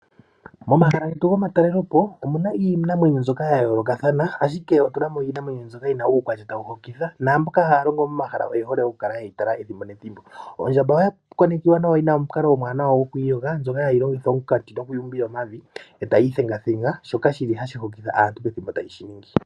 Momahala getu gomatalelopo omu na iinamwenyo mbyoka ya yoolokathana , ashike otu na mo iinamwenyo mbyoka yi na uukwatya tawu hokitha naamboka haya longo momahala moka oye hole okukala ye yi tala ethimbo nethimbo. Ondjamba oya konekiwa yi na omukalo omuwanawa goku iyoga, ndjoka hayi longitha omunkati noku iyumbila omavi e tayi ithengathenga, shoka hashi hokitha aantu pethimbo tayi shi ningi.